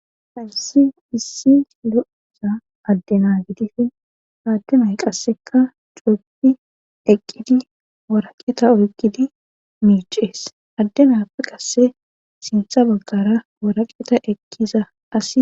Halisi issi lo7isa addenagidifin haaddumay qasseka cooppi eqqidi waraqeeta oykidi miicees addenafi qasse sintha baggara waraqeta eqkiza as.